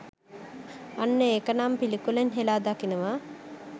අන්න එකනම් පිළිකුලෙන් හෙලා දකිනවා